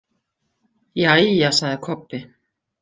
Jæja, sagði Kobbi.